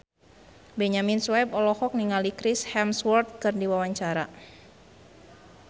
Benyamin Sueb olohok ningali Chris Hemsworth keur diwawancara